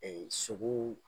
Ɛɛ sogo